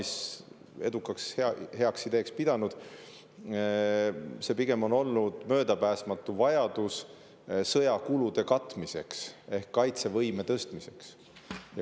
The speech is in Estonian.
See on olnud pigem möödapääsmatust vajadusest katta sõjakulusid ehk tõsta kaitsevõimet.